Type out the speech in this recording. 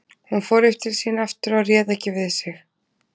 Hún fór upp til sín aftur og réð ekki við sig.